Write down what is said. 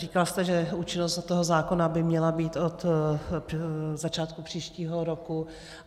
Říkal jste, že účinnost toho zákona by měla být od začátku příštího roku.